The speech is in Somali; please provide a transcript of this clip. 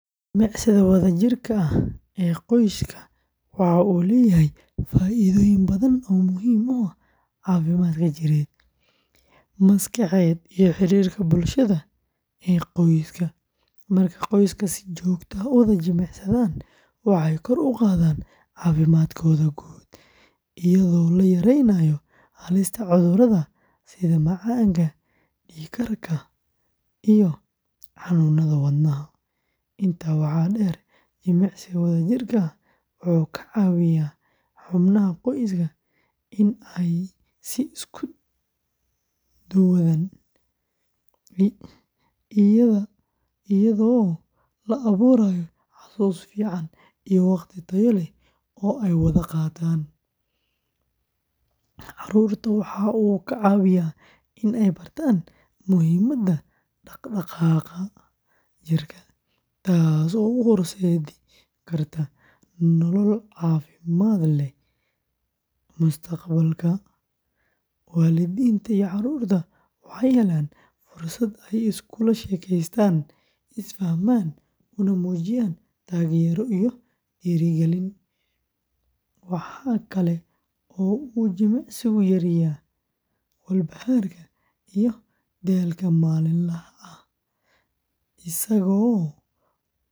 Jimicsiga wadajirka ah ee qoyska waxa uu leeyahay faa’iidooyin badan oo muhiim u ah caafimaadka jireed, maskaxeed iyo xiriirka bulshada ee qoyska. Marka qoyska si joogto ah u wada jimicsadaan, waxay kor u qaadaan caafimaadkooda guud, iyadoo la yareynayo halista cudurrada sida macaanka, dhiig karka, iyo xanuunnada wadnaha. Intaa waxaa dheer, jimicsiga wadajirka ah wuxuu ka caawiyaa xubnaha qoyska in ay isku dhowaadaan, iyadoo la abuurayo xusuus fiican iyo waqti tayo leh oo ay wada qaataan. Carruurta waxa uu ka caawiyaa in ay bartaan muhiimadda dhaqdhaqaaqa jirka, taas oo u horseedi karta nolol caafimaad leh mustaqbalka. Waalidiinta iyo carruurta waxay helaan fursad ay iskula sheekaystaan, isfahmaan, una muujiyaan taageero iyo dhiirigelin. Waxa kale oo uu jimicsigu yareeyaa walbahaarka iyo daalka maalinlaha ah, isagoo kor u qaadaya niyadda.